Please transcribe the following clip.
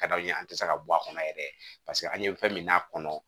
Ka d'anw ye an te se ka bɔ a kɔnɔ yɛrɛ paseke an ye fɛn min d'a kɔnɔ